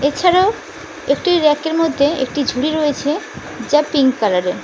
এছাড়াও একটি রেকের মধ্যে একটি ঝুড়ি রয়েছে যা পিঙ্ক কালারের।